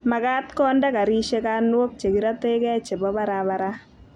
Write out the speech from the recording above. magat konde garishek anwok che kirategei chebo barabara